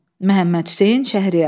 Məhəmmədhüseyn Şəhriyar.